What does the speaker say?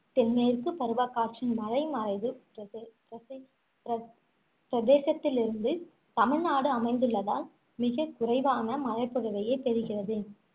தென்மேற்கு பருவக்காற்றின் மலைமறைவுப் பிரதே~ பிரசே~ பிர~ பிரதேசத்தில் இருந்து தமிழ்நாடு அமைந்துள்ளதால் மிகக் குறைவான மழைப்பொழிவையே பெறுகிறது